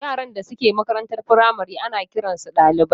yaran da suke makarantar firamare ana kiransu ɗalibai.